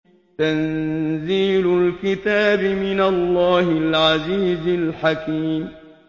تَنزِيلُ الْكِتَابِ مِنَ اللَّهِ الْعَزِيزِ الْحَكِيمِ